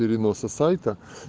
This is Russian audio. переноса сайта